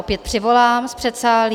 Opět přivolám z předsálí.